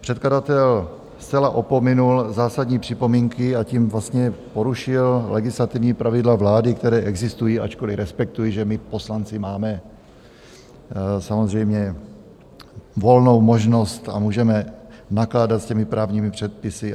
Předkladatel zcela opominul zásadní připomínky a tím vlastně porušil legislativní pravidla vlády, která existují, ačkoliv respektuji, že my poslanci máme samozřejmě volnou možnost a můžeme nakládat s těmi právními předpisy.